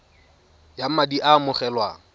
ya madi a a amogelwang